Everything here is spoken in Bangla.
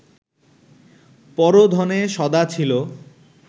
পর ধনে সদা ছিল